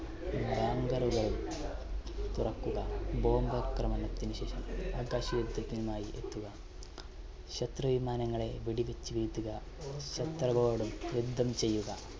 bunker കൾ തുറക്കുക bomb ആക്രമണത്തിനുശേഷം ആകാശ യുദ്ധത്തിനായി എത്തുക ശത്രു വിമാനങ്ങളെ വെടിവെച്ചു വീഴ്ത്തുക ശത്രുക്കളോട് യുദ്ധം ചെയ്യുക.